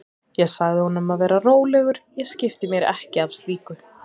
Ég sagði honum að vera rólegur, ég skipti mér ekki af slíku.